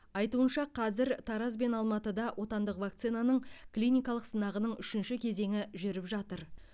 айтуынша қазір тараз бен алматыда отандық вакцинаның клиникалық сынағының үшінші кезеңі жүріп жатыр